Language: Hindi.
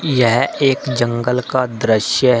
यह एक जंगल का दृश्य है।